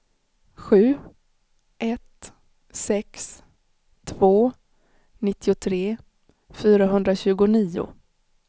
sju ett sex två nittiotre fyrahundratjugonio